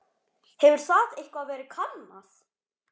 Hefur það eitthvað verið kannað?